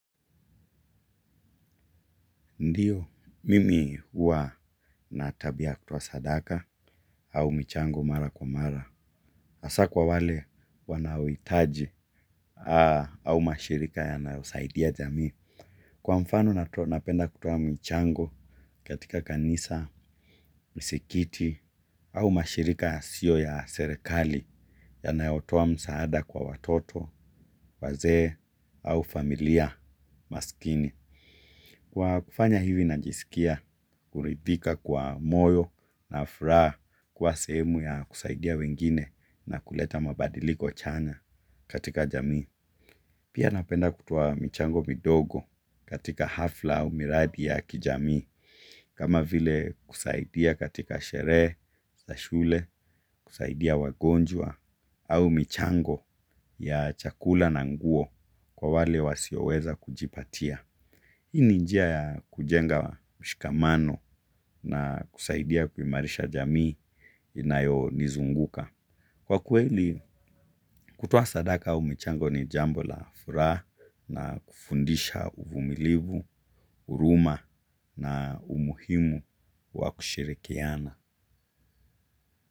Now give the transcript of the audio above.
Ndiyo, mimi huwa na tabia ya kutoa sadaka au michango mara kwa mara. Hasa kwa wale wanaohitaji au mashirika yanayosaidia jamii. Kwa mfano napenda kutoa michango katika kanisa misikiti au mashirika yasiyo ya serekali yanayotoa msaada kwa watoto, wazee au familia maskini. Kwa kufanya hivi najiskia kuridhika kwa moyo na furaha kwa sehemu ya kusaidia wengine na kuleta mabadiliko chanya katika jamii. Pia napenda kutoa michango midogo katika hafla au miradi ya kijamii, kama vile kusaidia katika sherehe za shule kusaidia wagonjwa au michango ya chakula na nguo kwa wale wasioweza kujipatia. Hii ni njia ya kujenga mshikamano na kusaidia kuimarisha jamii inayo nizunguka. Kwa kweli kutoa sadaka au michango ni jambo la furaha na kufundisha uvumilivu, huruma na umuhimu wa kushirikiana.